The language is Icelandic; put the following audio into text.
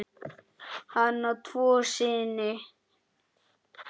Hann á tvo syni.